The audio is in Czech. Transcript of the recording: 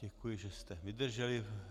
Děkuji, že jste vydrželi.